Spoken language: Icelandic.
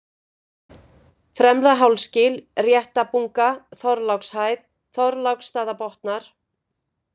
Fremra-Hálsgil, Réttabunga, Þorlákshæð, Þorláksstaðabotnar